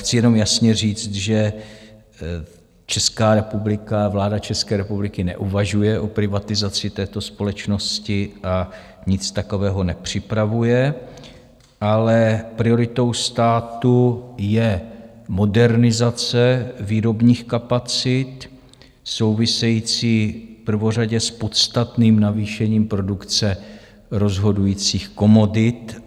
Chci jenom jasně říct, že Česká republika, vláda České republiky neuvažuje o privatizaci této společnosti a nic takového nepřipravuje, ale prioritou státu je modernizace výrobních kapacit související prvořadě s podstatným navýšením produkce rozhodujících komodit.